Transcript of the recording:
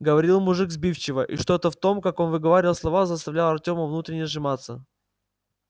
говорил мужик сбивчиво и что-то в том как он выговаривал слова заставляло артёма внутренне сжиматься